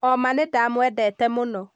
Oma nĩndamwendete mũno